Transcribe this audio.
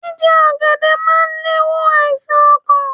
Jíje ògèdè máa le è wo àìsàn okàn